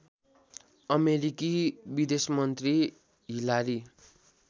अमेरिकी विदेशमन्त्री हिलारी